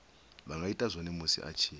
ita zwone musi a tshi